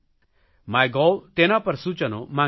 my gov તેના પર સૂચનો માંગ્યા હતા